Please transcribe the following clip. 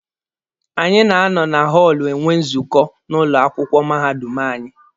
Anyị na-anọ na họọlụ enwe nzukọ n'ụlọ akwụkwọ mahadum anyị.